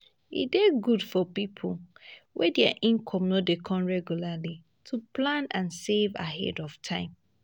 e dey good for pipo wey their income no dey come regularly to plan and save ahead of time